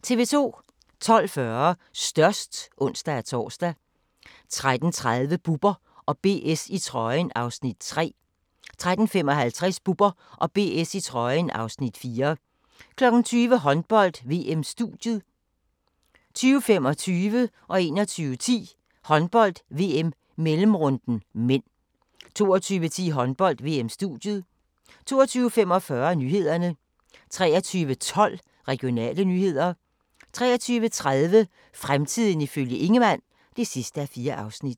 12:40: Størst (ons-tor) 13:30: Bubber & BS i trøjen (Afs. 3) 13:55: Bubber & BS i trøjen (Afs. 4) 20:00: Håndbold: VM-studiet 20:25: Håndbold: VM - mellemrunden (m) 21:10: Håndbold: VM - mellemrunden (m) 22:10: Håndbold: VM-studiet 22:45: Nyhederne 23:12: Regionale nyheder 23:30: Fremtiden ifølge Ingemann (4:4)